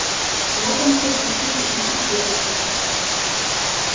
локонса пустили идти первым